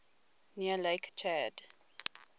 near lake chad